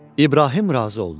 İbrahim razı oldu.